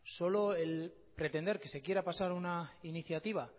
solo el pretender que se quiera pasar una iniciativa